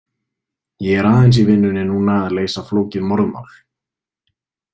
Ég er aðeins í vinnunni núna að leysa flókið morðmál.